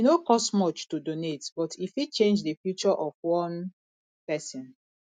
e no cost much to donate but e fit change the future of one person